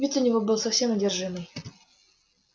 вид у него был совсем одержимый